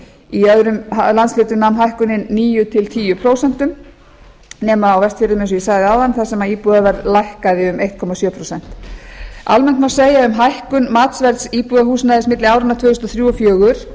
í öðrum landshlutum nam hækkunin níu til tíu prósent nema á vestfjörðum eins og ég sagði áðan þar sem íbúðaverð lækkaði um einn komma sjö prósent almennt má segja um hækkun matsverðs íbúðarhúsnæðis milli áranna tvö þúsund og